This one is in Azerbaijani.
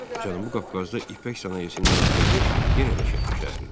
Cənubi Qafqazda ipək sənayesinin mərkəzi yenə də Şəki şəhəri idi.